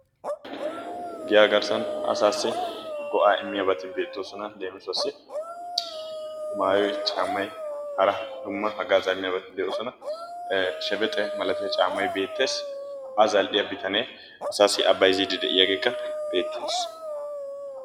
Giyaa garssan asaassi go'aa immiyabati beettoosona, leemissuwaassi maayoy, caammay, hara dumma haggaazaa immiyabati de'oosona, ee shebbexxe malatiya caammay beettees, a zal'iya bitane asaassi a bsyzziidi de'iyaageekka beettees.